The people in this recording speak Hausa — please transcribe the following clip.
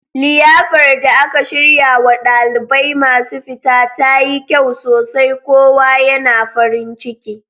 Liyafar da aka shiryarwa ɗalibai masu fita tayi kyau sosai kowa yana farin ciki